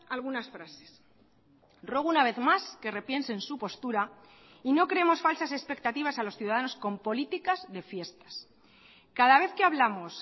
algunas frases ruego una vez más que repiensen su postura y no creemos falsas expectativas a los ciudadanos con políticas de fiestas cada vez que hablamos